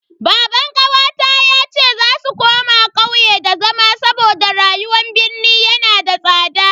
Baban kawata yace za su koma kauye da zama saboda rayuwar birni yana da tsada.